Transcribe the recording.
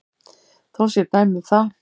Þó séu dæmi um það.